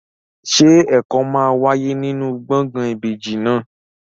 Ṣé ẹ̀kọ́ máa wáyé nínú gbọ̀ngàn ìbejì náà?